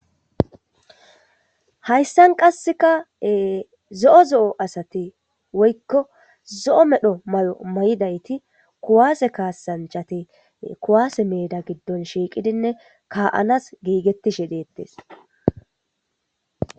hayssan qasseka zo'o zo'o asati woykko zo'o medho malo may'idayti kuwaase kaasanchati kuwaase meeda giddon shiiqidinne kaa'anas giigettishe deettes